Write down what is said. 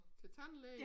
Til tandlæge?